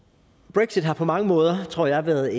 brexit har på mange måder tror jeg været